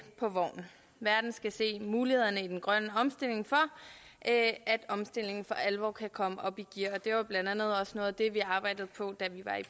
på vognen verden skal se mulighederne i den grønne omstilling for at omstillingen for alvor kan komme op i gear og det var blandt andet også noget af det vi arbejdede på da vi var i